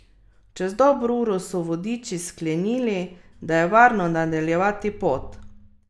Čez dobro uro so vodiči sklenili, da je varno nadaljevati pot.